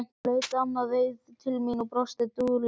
Hún leit annað veifið til mín og brosti dulúðugt.